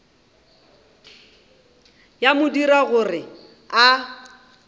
ya mo dira gore a